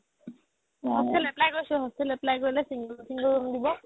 hostel apply কৰিছো hostel apply কৰিলে single single room দিব